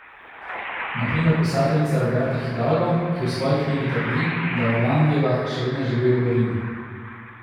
Na primer pisateljica Roberta Hidalgo, ki v svoji knjigi trdi, da Orlandijeva še vedno živi v Rimu.